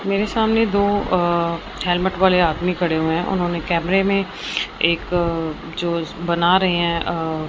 मेरे सामने दो अ हेलमेट वाले आदमी खड़े हुए हैं उन्होंने कैमरे में एक जो बना रे है अ --